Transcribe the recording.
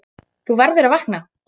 Þú verður að vakna.